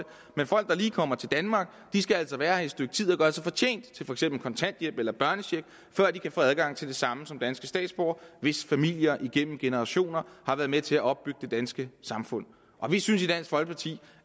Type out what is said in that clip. men folk der lige er kommet til danmark skal altså være her i et stykke tid og gøre sig fortjent til for eksempel kontanthjælp eller børnecheck før de kan få adgang til det samme som danske statsborgere hvis familier igennem generationer har været med til at opbygge det danske samfund vi synes i dansk folkeparti